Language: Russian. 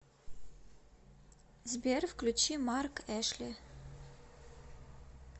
сбер включи марк эшли